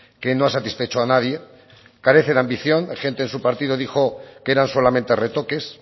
que no ha satisfecho a nadie carece de ambición gente de su partido dijo que eran solamente retoques